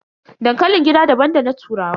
Dankalin gida daban da na turawa.